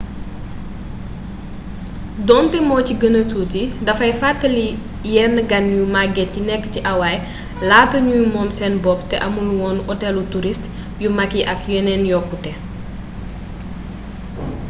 donte mo ci gëna tuuti dafay fàttali yenn gan yu magget yi nekk ci hawaii laata ñuy moom seen bopp te amul woon otelu turist yu mag yi ak yeneen yokkute